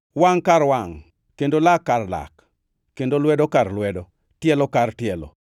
wangʼ kar wangʼ, kendo lak kar lak, kendo lwedo kar lwedo kendo tielo kar tielo,